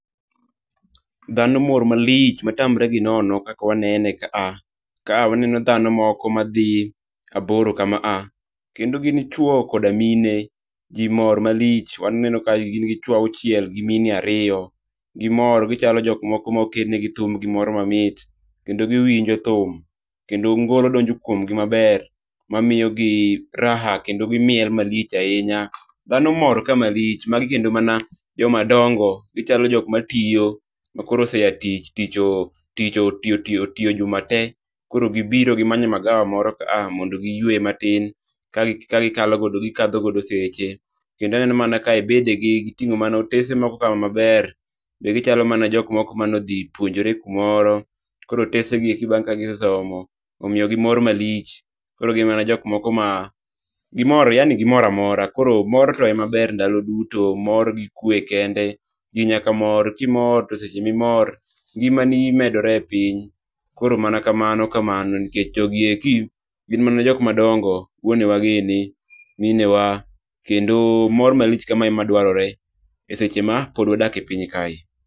Dhano mor malich matamre gi nono, kaka wanene ka a. Kaa waneno dhano moko madhi aboro kama a. Kendo gin chwo koda mine. JIi mor malich gin gi chwo auchiel gi mine ario. Gimor gichalo jokmoko moketnegi thumgi moro mamit, kendo giwinjo thum, kendo ngolo donjo kwomgi maber, mamiogi raha, kendo gimiel malich ainya. Dhano mor ka malich, magi kendo mana joma dongo, gichalo jokma tio, ma koro oseya tich, tich oh tich otio tio tio juma tee, koro gibiro gimanyo magawa moro ka a, mondo giywee matin, kagik kagikalo godo gikadho godo seche. Kendo aneno mana ka e bedegi giting'o mana otese moko ka maber, be gichalo mana jokmoko manodhi puonjore kumoro, koro otesegi eki bang' ka gisesomo omiogi mor malich, koro gin mana jokmoko ma gimor yani gimoramora. Koro mor to ema ber ndalo duto, mor gi kwe kende. Jii nyaka mor, kimor to seche mimor ngimani medore e piny. Koro mana kamano kamano nkech jogieki, gin mana jok madongo, wuonewagini, minewa, kendo mor malich kama ema dwarore e seche ma pod wadak e piny kae.